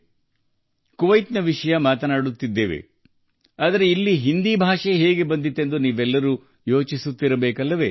ಈಗ ನಾವು ಕುವೈತ್ ಬಗ್ಗೆ ಮಾತನಾಡುತ್ತಿರುವುದರಿಂದ ಹಿಂದಿ ಹೇಗೆ ಬಂತು ಎಂದು ನಿಮಗೆ ಅನಿಸಬಹುದು